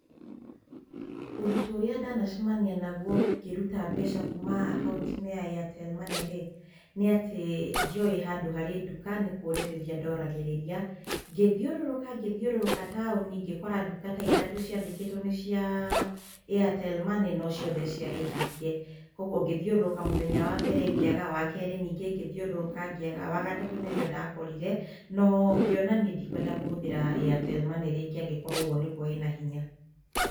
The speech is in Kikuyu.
Ũritũ ũrĩa ndanacemania naguo ngĩruta mbeca kuma akaunti-inĩ ya Airtel money rĩ, nĩatĩ ndiowĩ handũ harĩ nduka nĩkũrĩrĩria ndoragĩrĩria, ngĩthiũrũrũka ngĩthiũrũrũka taũni ngĩkora nduka ta ithatũ ciandĩkĩtwo nĩ cia Airtel money no ciothe ciarĩ hinge, koguo ngĩthiũrũrũka mũthenya wa mbere ngĩaga, wa kerĩ ningi ngĩthiũrũrũka ngĩaga, wa gatatũ nĩrĩo ndakorire no ngĩona niĩ ndikwenda kũhũthĩra Airtel money rĩngĩ angĩkorwo ũguo nĩguo ĩna hinya.